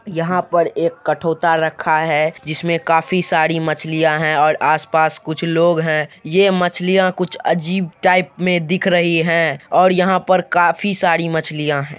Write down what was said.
यहाँ पर एक कठोता रखा है जिसमें काफी सारी मछलियां है और आसपास कुछ लोग है| ये मछलियाँ कुछ अजीब टाइप में दिख रही है और यहाँ पर काफी सारी मछलियाँ है।